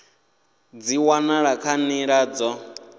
dzi wanala kha nḓila dzo